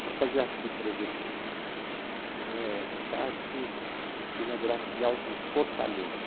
Então eu fazia assim, por exemplo, eh, Sharp inaugurar filial de Fortaleza.